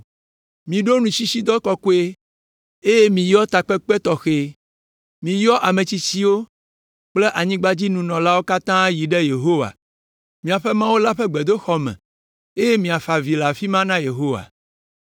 Miɖo nutsitsidɔ kɔkɔe eye miyɔ takpekpe tɔxɛ. Miyɔ ame tsitsiwo kple anyigbadzinɔlawo katã yi ɖe Yehowa, miaƒe Mawu la ƒe gbedoxɔ me eye miafa avi le afi ma na Yehowa.